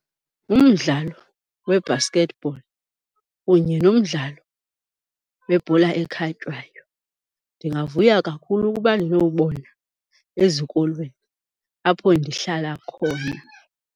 Umdlalo we-basketball kunye nomdlalo webhola ekhatywayo ndingavuya kakhulu ukuba ndinowubona ezikolweni apho ndihlala khona.